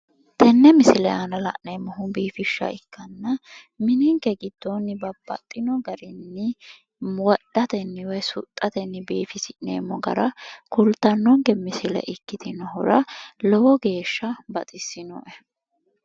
tenne misile aana la'neemmohu biifishsha ikkanna mininke giddoonni babbaxino garinni wodhatenni woyi suxxatenni biifinseemmo gara kultannonke misile ikkitinohura lowo geeshsha baxissinoe.